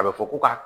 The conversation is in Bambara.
A bɛ fɔ ko ka